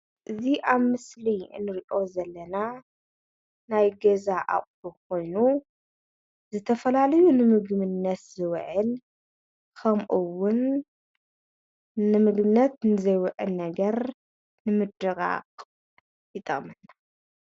እዚ ኣብዚ ምስሊ ንሪኦ ዘለና ናይ ገዛ ኣቁሑ ኮይኑ ዝተፈላለዩ ንምግብነት ዝዉዕል ከምኡ እዉን ንምግብነት ንዘይዉዕል ነገር ንምድቃቅ ይጠቅመና ።